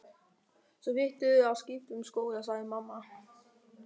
Svo þyrftirðu að skipta um skóla sagði mamma.